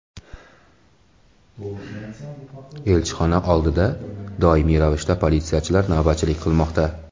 Elchixona oldida doimiy ravishda politsiyachilar navbatchilik qilmoqda.